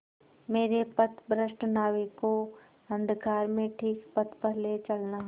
मेरे पथभ्रष्ट नाविक को अंधकार में ठीक पथ पर ले चलना